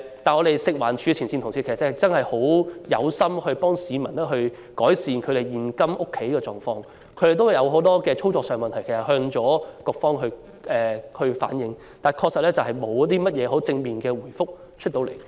不過，食環署前線人員確實有心協助市民改善現今常見的家居問題，但卻有很多操作上的問題需要向局方反映，而又沒有得到正面回覆。